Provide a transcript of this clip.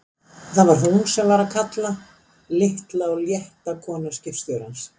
Það var hún sem var að kalla, litla og létta konan skipstjórans!